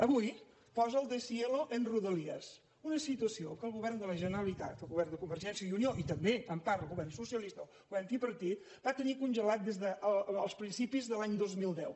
avui posa el deshielo en rodalies una situació que el govern de la generalitat el govern de convergència i unió i també en part el govern socialista el govern tripartit van tenir congelada des dels principis de l’any dos mil deu